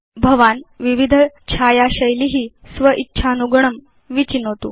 भवान् विविध छाया शैली स्व इच्छानुगुणं विचिनोतु